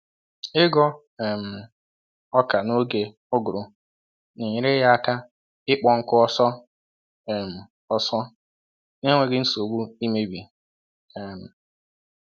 Ịghọ um ọka n'oge uguru na-enyere ya aka ịkpọ nkụ ọsọ um ọsọ na-enweghị nsogbu imebi. um